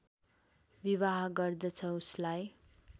विवाह गर्दछ उसलाई